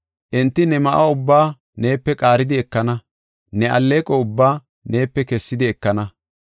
Enti ne ma7o ubbaa neepe qaaridi ekana; ne alleeqo ubbaa neepe kessidi ekana.